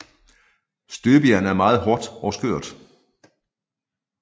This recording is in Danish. Støbejern er meget hårdt og skørt